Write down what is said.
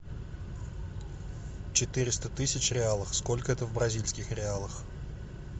четыреста тысяч реалов сколько это в бразильских реалах